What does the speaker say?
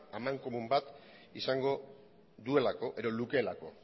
amankomun bat izango duelako edo lukeelako